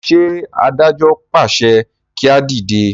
ṣe adájọ pàṣẹ kí a dìde?